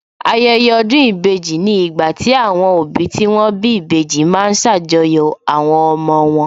Ayẹyẹ ọdún ìbejì ni ìgbà tí àwọn òbí tí wón bí ìbejì ma ń ṣàjọyọ̀ àwọn ọmọ wọn